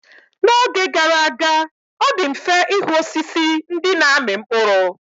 N'oge gara aga, ọ dị mfe ịhụ osisi ndị na-amị mkpụrụ.